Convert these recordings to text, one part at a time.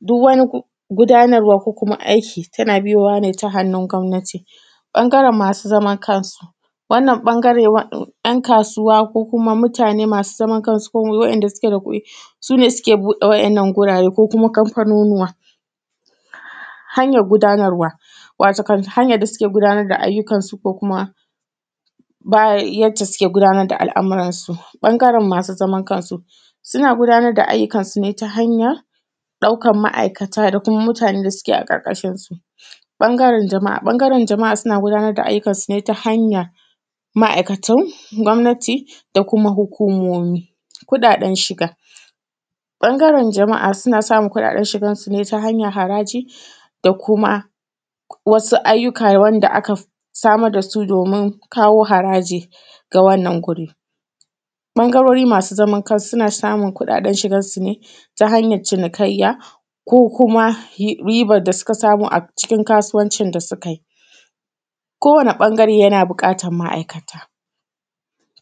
duk wani gu; gudanarwa ko kuma aiki tana biyowa ne ta hannun gwamnati. Ɓangaren masu zaman kansu, wannan ƃangare wa in; ‘yan kasuwa ko kuma mutane masu zaman kansu ko kuma waɗanda suke da kuɗi, su ne suke buɗe wa’yannan gurare ko kuma kamfanunuwa. Hanyar gudanarwa, watakon hanyar da suke gudanar da ayyukansu ko kuma bayah; yadda suke gudanar da al’amuransu. Ɓangaren masu zaman kansu, suna gudanar da ayyukansu ne ta hanyar ɗaukan ma’aikata da kuma mutane da suke a ƙarƙashin su. Ɓangaren jama’a, ƃangaren jama’a suna gudanar da ayyukansu ne ta hanyar ma’aikatan gwamnati da kuma hukumomi. Kuɗaɗen shiga, ƃangaren jama’a suna samun kuɗaɗen shigansu ne ta hanyar haraji da kuma wasu ayyuka wanda aka samar da su domin kawo haraji ga wannan guri. Ɓangarori masu zaman kansu suna samun kuɗaɗen shigansu ne ta hanyac cinikayya ko kuma y; ribar da suka samu a cikin kasuwancin da suka yi. Kowane ƃangare yana buƙatan ma’aikata,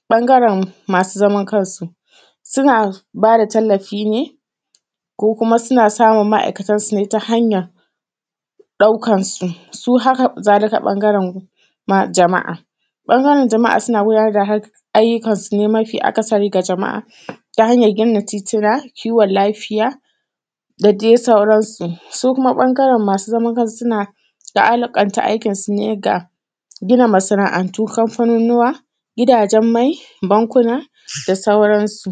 ƃangaren masu zaman kansu, suna ba da tallafi ne, ko kuma suna samun ma’aikatansu ne ta hanyan ɗaukan su, su hakazalika ƃangaren ma; jama’a. Ɓangaren jama’a suna gudanar da har; ayyukansu ne mafi akasari ga jama’a, ta hanyar gina tituna, kiwon lafiya, da de sauran su, su kuma ƃangaren masu zaman kansu suna la’alkanta aikinsu ne ga gina masana’antu, kamfanunuwa, gidajen mai, bankuna da sauran su.